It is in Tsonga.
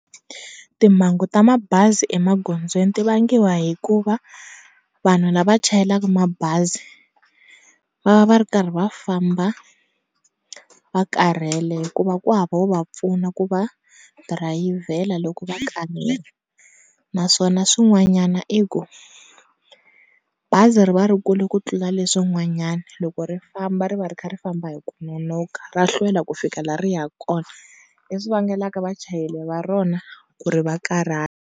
Timhangu ta mabazi emaghondzweni ti vangiwa hikuva vanhu la va chayelaka mabazi va va va ri karhi va famba va karhele hikuva kuhava wo va pfuna ku va dirayivhela loko va karhele naswona swin'wanyana i ku bazi ri va ri kule ku tlula leswin'wanyana loko ri famba ri va ri karhi ri famba hi ku nonoha ra hlwela ku fika la ha riyaku kona le swi vangelaka vachayeri va rona ku ri vakarhala.